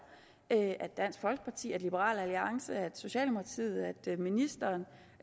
at at dansk folkeparti at liberal alliance at socialdemokratiet at ministeren